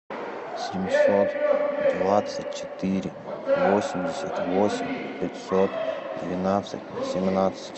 семьсот двадцать четыре восемьдесят восемь пятьсот двенадцать семнадцать